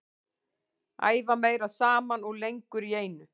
Æfa meira saman og lengur í einu.